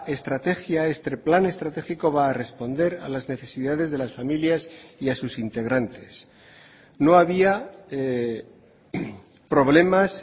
estrategia este plan estratégico va a responder a las necesidades de las familias y a sus integrantes no había problemas